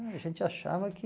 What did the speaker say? A gente achava que...